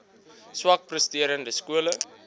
swak presterende skole